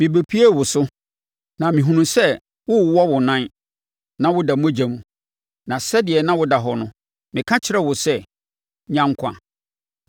“ ‘Mebɛpuee wo so, na mehunuu sɛ worewɔ wo nan na woda mogya mu, na sɛdeɛ na woda hɔ no, meka kyerɛɛ wo sɛ, “Nya nkwa!”